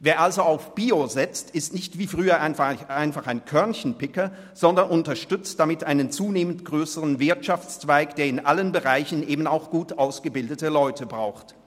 Wer also auf Bio setzt, ist nicht wie früher einfach ein Körnchenpicker, sondern unterstützt damit einen zunehmend grösseren Wirtschaftszweig, der in allen Bereichen eben auch gut ausgebildete Leute braucht.